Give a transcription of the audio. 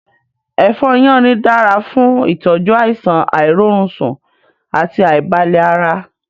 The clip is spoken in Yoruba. Èfó yánrin dára fún ìtọ́jú àìsàn àìrórunsùn àti àìbalẹ̀ ara.